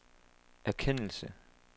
erkendelse